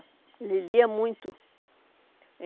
Ele lia muito.